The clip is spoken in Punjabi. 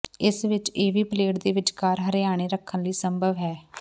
ਇਸ ਵਿਚ ਇਹ ਵੀ ਪਲੇਟ ਦੇ ਵਿਚਕਾਰ ਹਰਿਆਣੇ ਰੱਖਣ ਲਈ ਸੰਭਵ ਹੈ